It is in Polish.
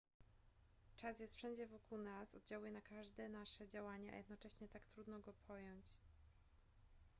czas jest wszędzie wokół nas oddziałuje na każde nasze działanie a jednocześnie tak trudno go pojąć